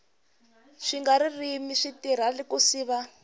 swiga ririmi swi tirha ku siva